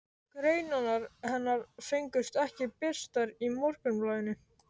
Greinarnar hennar fengust ekki birtar í Morgunblaðinu.